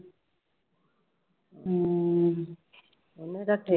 ਹਮ ਉਹਨੇ ਰੱਖੇ